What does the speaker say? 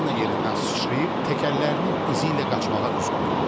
Buratino yerindən sıçrayıb təkərlərinin izi ilə qaçmağa üz qoydu.